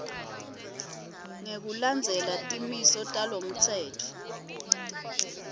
ngekulandzela timiso talomtsetfo